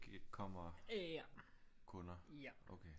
Kommer kunder